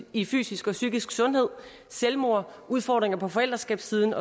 i fysisk og psykisk sundhed selvmord udfordringer på forældreskabssiden